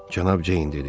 Cənab Ceyn dedi.